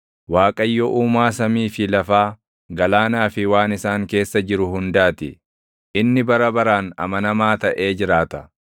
Waaqayyo Uumaa samii fi lafaa, galaanaa fi waan isaan keessa jiru hundaa ti; inni bara baraan amanamaa taʼe jiraata.